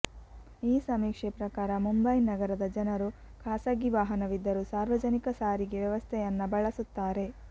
ಈ ಸಮೀಕ್ಷೆ ಪ್ರಕಾರ ಮುಂಬೈ ನಗರದ ಜನರು ಖಾಸಗಿ ವಾಹನವಿದ್ದರೂ ಸಾರ್ವಜನಿಕ ಸಾರಿಗೆ ವ್ಯವಸ್ಥೆಯನ್ನ ಬಳಸುತ್ತಾರೆ